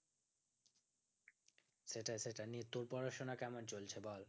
সেটাই সেটাই দিয়ে তোর পড়াশোনা কেমন চলছে বল